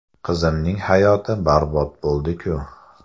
Qizimning hayoti barbod bo‘ldi-ku.